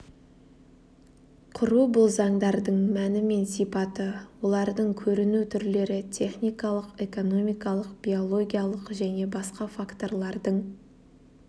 құру бұл заңдардың мәні мен сипаты олардың көріну түрлері техникалық экономикалық биологиялық және басқа факторлардың